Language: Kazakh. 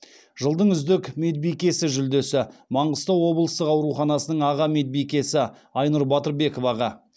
жылдың үздік медбикесі жүлдесі маңғыстау облыстық ауруханасының аға медбикесі айнұр батырбековаға